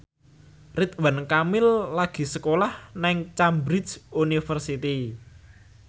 Ridwan Kamil lagi sekolah nang Cambridge University